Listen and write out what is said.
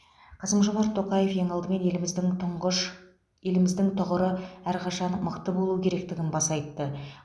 қасым жомарт тоқаев ең алдымен еліміздің түңғыш еліміздің тұғыры әрқашан мықты болуы керектігін баса айтты